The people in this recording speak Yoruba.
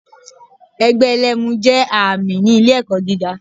Ẹgbẹ́ ẹlẹ́mu jé ààmì ni ilé èkó giga